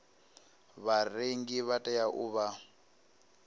vharengi vha tea u vha